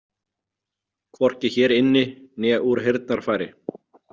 Hvorki hér inni né úr heyrnarfæri.